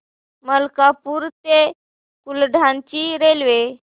मलकापूर ते बुलढाणा ची रेल्वे